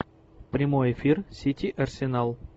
прямой эфир сити арсенал